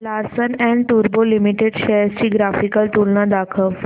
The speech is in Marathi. लार्सन अँड टुर्बो लिमिटेड शेअर्स ची ग्राफिकल तुलना दाखव